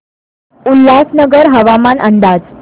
उल्हासनगर हवामान अंदाज